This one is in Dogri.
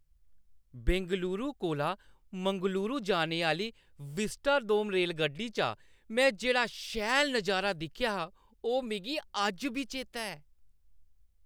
बेंगलुरु कोला मंगलुरु जाने आह्‌ली विस्टाडोम रेलगड्डी चा में जेह्ड़ा शैल नज़ारा दिक्खेआ हा, ओह् मिगी अज्ज बी चेता ऐ।